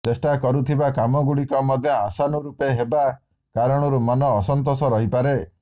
ଚେଷ୍ଟା କରୁଥିବା କାମଗୁଡିକ ମଧ୍ୟ ଆଶାନୁରୂପ ହେବା କାରଣରୁ ମନ ଅସନ୍ତୋଷ ରହିପାରେ